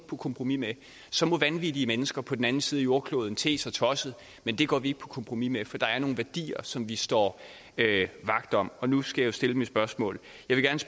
på kompromis med den så må vanvittige mennesker på den anden side af jordkloden te sig tosset men det går vi ikke på kompromis med for der er nogle værdier som vi står vagt om og nu skal jeg jo stille mit spørgsmål